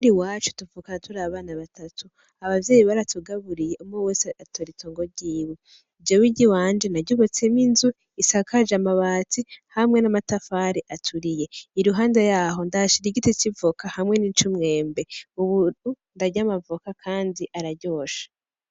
Muhira iwacu tuvuka turi abana batatu abavyeyi baratugaburiye umwe wese atora itongo ryiwe ,Jewe iryiwanje na ryubatsemwo inzu isakaje amabati hamwe n'amatafari aturiye iruhande yaho ndahashira igiti c'ivoka hamwe n'icumwembe ubu ndarya amavoka kandi araryoshe.